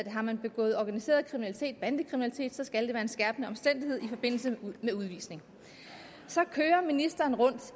man begået organiseret kriminalitet bandekriminalitet skal det være en skærpende omstændighed i forbindelse med udvisning så kører ministeren rundt